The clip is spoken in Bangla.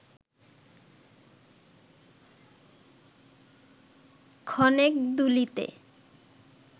ক্ষণেক দুলিতে